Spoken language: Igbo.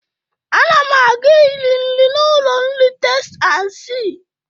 Ana m aga iri nri n'ụlọ nri Testi an sii.